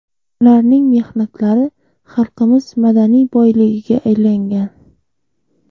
Ularning mehnatlari xalqimiz madaniy boyligiga aylangan.